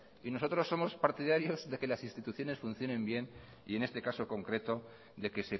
y nosotros somos partidarios de que las instituciones funciones bien y en este caso concreto de que